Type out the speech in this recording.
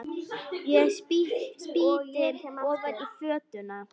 Ég spýti ofan í fötuna.